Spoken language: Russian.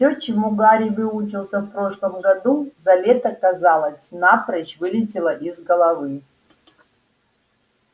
всё чему гарри выучился в прошлом году за лето казалось напрочь вылетело из головы